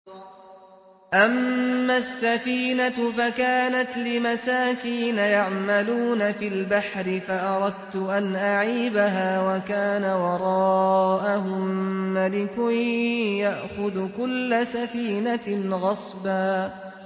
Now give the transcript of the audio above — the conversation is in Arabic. أَمَّا السَّفِينَةُ فَكَانَتْ لِمَسَاكِينَ يَعْمَلُونَ فِي الْبَحْرِ فَأَرَدتُّ أَنْ أَعِيبَهَا وَكَانَ وَرَاءَهُم مَّلِكٌ يَأْخُذُ كُلَّ سَفِينَةٍ غَصْبًا